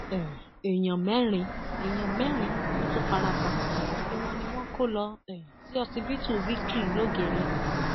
um èèyàn mẹrin èèyàn mẹrin ló tún farapa gbogbo wọn ni wọn kò lọ um sí ọsibítù victory lọgẹrẹ